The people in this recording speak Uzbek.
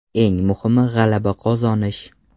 Eng muhimi – g‘alaba qozonish.